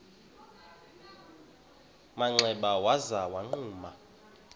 manxeba waza wagquma